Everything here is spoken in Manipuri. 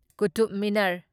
ꯀꯨꯇꯨꯕ ꯃꯤꯅꯔ